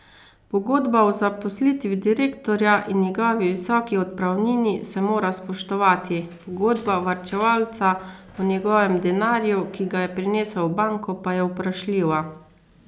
Pogodba o zaposlitvi direktorja in njegovi visoki odpravnini se mora spoštovati, pogodba varčevalca o njegovem denarju, ki ga je prinesel v banko, pa je vprašljiva.